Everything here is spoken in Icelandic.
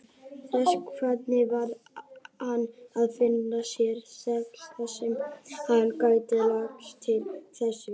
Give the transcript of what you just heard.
Þessvegna varð hann að finna sér stað þarsem hann gæti lagst til svefns.